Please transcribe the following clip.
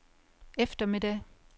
eftermiddag